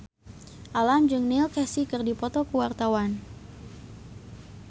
Alam jeung Neil Casey keur dipoto ku wartawan